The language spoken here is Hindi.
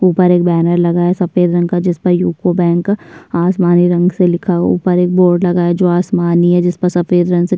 ऊपर एक बैनर लगा है सफेद रंग का। जिस पर यूको बैंक आसमानी रंग से लिखा ऊपर एक बोर्ड लगा है जो आसमानी है जिस पर सफेद रंग से --